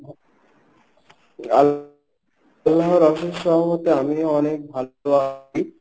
আল~লাহার অশেষ আমিও অনেক ভালো আছি.